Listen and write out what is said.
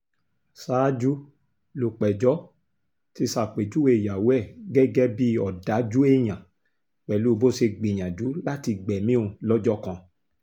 ṣáájú lúpẹ̀jọ́ ti ṣàpèjúwe ìyàwó ẹ̀ gẹ́gẹ́ bíi ọ̀dájú èèyàn pẹ̀lú bó ṣe gbìyànjú láti gbẹ̀mí òun lọ́jọ́ kan